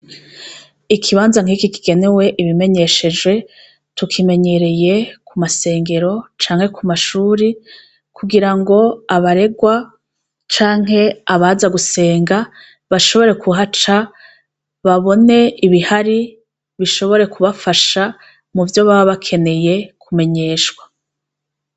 Ikibanza nkiki kigenewe ibimenyeshejwe tukimenyereye kumasengero canke kumashuri kugira ngo abarerwa canke abaza gusenga bashobore kuhaca babone ibihari bishobore kubafasha muvyo baba bakeneye kumenyeshwa